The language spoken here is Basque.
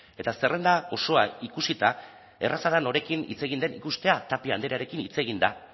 eta zerrenda osoa ikusita erraza da norekin hitz egin den ikustea tapia andrearekin hitz egin da